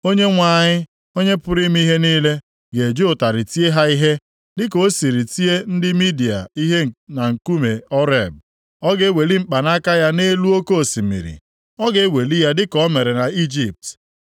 Onyenwe anyị, Onye pụrụ ime ihe niile, ga-eji ụtarị tie ha ihe dịka o sịrị tie ndị Midia ihe na nkume Oreb. Ọ ga-eweli mkpanaka ya nʼelu oke osimiri, ọ ga-eweli ya dịka o mere nʼIjipt.